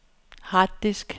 harddisk